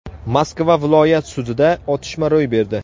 Moskva viloyat sudida otishma ro‘y berdi.